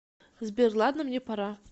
сбер ладно мне пора